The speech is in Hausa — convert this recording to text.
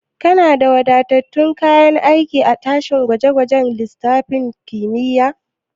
Kuna da wadatattun kayan aiki a daki gwaje gwajen lissafin kimiyya?